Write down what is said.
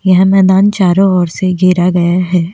यह मैदान चारों ओर से घेरा गया है।